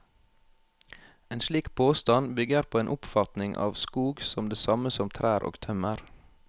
En slik påstand bygger på en oppfatning av skog som det samme som trær og tømmer.